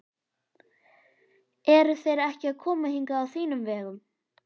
Eru þeir ekki að koma hingað á þínum vegum?